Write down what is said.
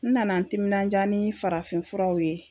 N nana n timinanja nin farafinfuraw ye